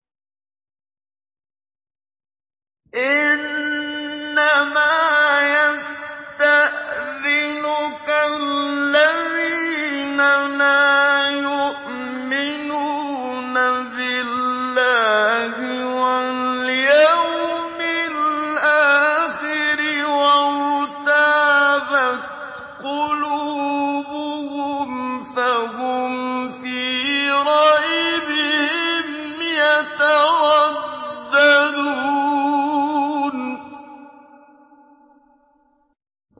إِنَّمَا يَسْتَأْذِنُكَ الَّذِينَ لَا يُؤْمِنُونَ بِاللَّهِ وَالْيَوْمِ الْآخِرِ وَارْتَابَتْ قُلُوبُهُمْ فَهُمْ فِي رَيْبِهِمْ يَتَرَدَّدُونَ